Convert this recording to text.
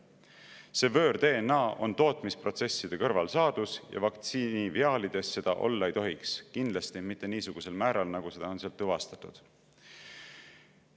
See võõr-DNA on tootmisprotsesside kõrvalsaadus ja vaktsiiniviaalides seda olla ei tohiks, kindlasti mitte niisugusel määral, nagu seda on tuvastatud.